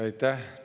Aitäh!